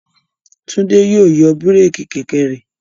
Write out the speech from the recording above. Tún é yóò yọ búrékì kẹ̀kẹ́ rẹ̀.